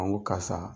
A ko karisa